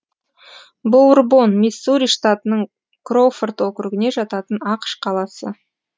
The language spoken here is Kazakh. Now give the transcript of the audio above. боурбон миссури штатының кроуфорд округіне жататын ақш қаласы